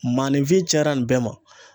Maanifin cayara nin bɛɛ ma.